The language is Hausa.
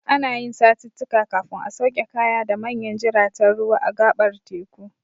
Ana yin satittika kafin a sauke kaya da manyan jiraten ruwa a gaɓar teku.